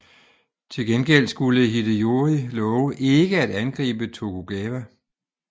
Til gengæld skulle Hideyori love ikke at angribe Tokugawa